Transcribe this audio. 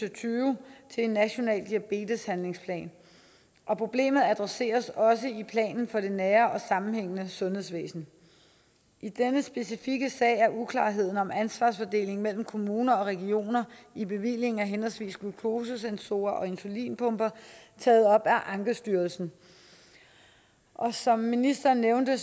og tyve til en national diabeteshandlingsplan og problemet adresseres også i planen for det nære og sammenhængende sundhedsvæsen i denne specifikke sag er uklarheden om ansvarsfordelingen mellem kommuner og regioner i bevillingen af henholdsvis glukosesensorer og insulinpumper taget op af ankestyrelsen og som ministeren nævnte